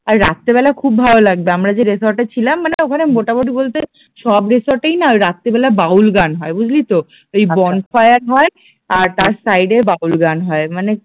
আর রাত্রিবেলা খুব ভালো লাগবে আমরা যে রিসোর্ট এ ছিলাম মানে ওখানে মোটামুটি বলতে সব রিসোর্ট এই না রাত্রিবেলা বাউল গান হয় বুঝলি তো ওই বনফায়ার হয় আর তার সাইড এ বাউল গান হয় মানে